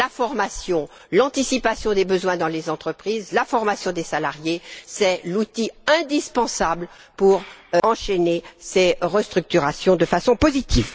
La formation, l'anticipation des besoins dans les entreprises, la formation des salariés, sont les outils indispensables pour enchaîner ces restructurations de façon positive.